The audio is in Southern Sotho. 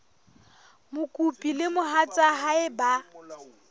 mokopi le mohatsa hae ba